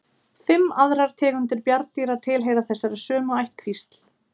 Fimm aðrar tegundir bjarndýra tilheyra þessari sömu ættkvísl.